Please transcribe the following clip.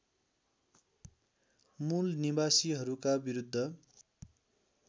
मूल निवासीहरूका विरुध्द